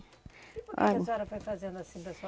E por que que a senhora foi fazendo assim da sua